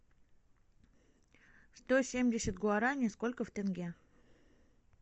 сто семьдесят гуарани сколько в тенге